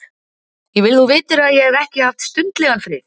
Ég vil þú vitir að ég hef ekki haft stundlegan frið.